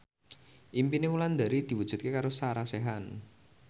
impine Wulandari diwujudke karo Sarah Sechan